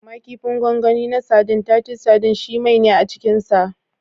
Amma kifin gwangwani na sadin (Titus sardines) shi mai ne a cikinsa.